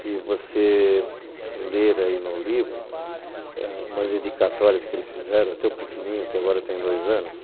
Se você ler aí no livro umas dedicatórias que eles fizeram, até o pequenininho, que agora tem dois anos,